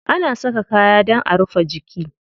Ana saka kaya dan a rufe jiki.